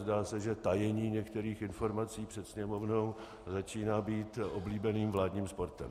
Zdá se, že tajení některých informací před Sněmovnou začíná být oblíbeným vládním sportem.